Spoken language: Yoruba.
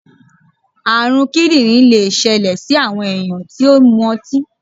àrùn kíndìnrín lè ṣẹlẹ sí àwọn ènìyàn tí ó mu ọtí.